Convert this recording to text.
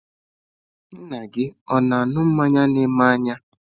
Nna gị ọ̀ na-aṅụ mmanya na eme n'anya?